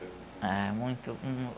Ah, muito